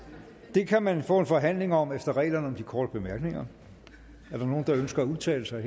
det kan man få en forhandling om efter reglerne om korte bemærkninger er der nogen der ønsker at udtale sig